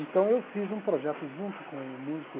Então, eu fiz um projeto junto com um músico